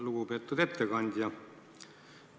Lugupeetud ettekandja!